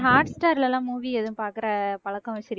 hot star ல எல்லாம் movie எதுவும் பாக்குற பழக்கம் வச்சிருக்கீங்களா